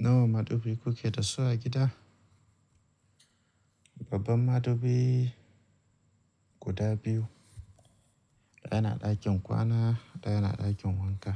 Nawa madubi kuke da su a gida? Babban madubi guda biyu, ɗaya na ɗakin kwana, ɗaya na ɗakin wanka.